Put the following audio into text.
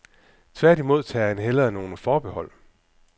Tværtimod tager han hellere nogle forbehold.